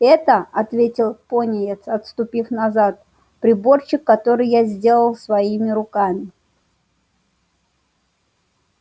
это ответил пониетс отступив назад приборчик который я сделал своими руками